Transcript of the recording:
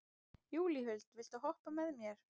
Júlíhuld, viltu hoppa með mér?